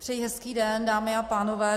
Přeji hezký den, dámy a pánové.